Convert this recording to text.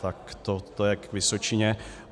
Tak to je k Vysočině.